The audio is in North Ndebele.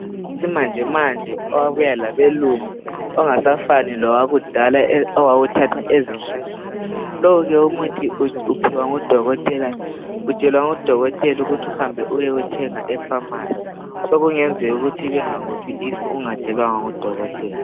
owesimanjemanje owabuya labelungu ongasafani lowakudala owawuthathwa ezihlahleni lowu ke umuthi uphiwa ngu dokotela utshelwa ngu dokotela ukuthi uhambe uyewuthenga e phamarcy sokungenzeka ukuthi bengakuphi if ungatshelwanga ngu dokotela